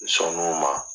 N sɔn n'o ma